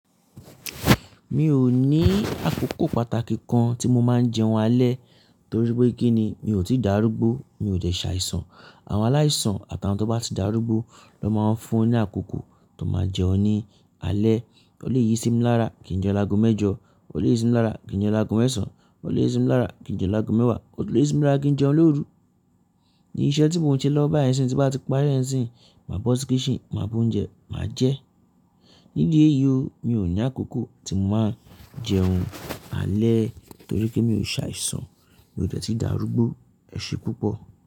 Mi ò ní àkókò pàtàkì kan tí mo máa ń jẹun alẹ́ torí pé kíni mi ò tí darúgbó, mi ò dẹ̀ ṣàìsàn. Àwọn aláìsàn àti àwọn tó bá ti darúgbó ló máa ń fún ni àkókò tó máa jẹun ní alẹ́. O leè yí sí mi lára kí n jẹun lago mẹ́jọ, o leè yí sí mi lára kí n jẹun lago mẹ́sàn, o leè yí sí mi lára kí n jẹun lago mẹ́wàá, o lè yí sí mi lára kí n jẹun lóru. Ni iṣẹ́ tí mò ń ṣe lọ́wo bàá yẹn sí tí bá ti pari ẹ́ sin, máa bọ́ sí kítchen, máa bú oúnjẹ, màá jẹ. Nídí èyí o, mi ò ní àkókò tí mò máa ń jẹun alẹ́ torí pé mi ò ṣàìsàn, mi ò dẹ̀ ti darúgbó. Ẹ̀ṣẹ̀ pupọ̀